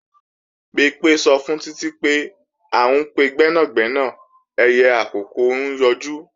Bimpé sọ fún Títí pé, à ń pe gbẹ́nàgbẹ́nà ẹyẹ àkókó ń yọjú